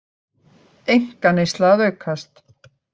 Einkaneysla að aukast